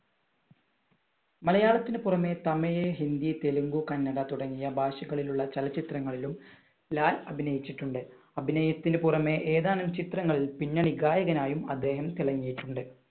മലയാളത്തിനു പുറമേ തമിഴ്, ഹിന്ദി, തെലുങ്കു, കന്നഡ തുടങ്ങിയ ഭാഷകളിലുള്ള ചലച്ചിത്രങ്ങളിലും ലാൽ അഭിനയിച്ചിട്ടുണ്ട് അഭിനയത്തിന് പുറമെ ഏതാനും ചിത്രങ്ങളിൽ പിന്നണി ഗായകനായും അദ്ദേഹം തിളങ്ങിയിട്ടുണ്ട്.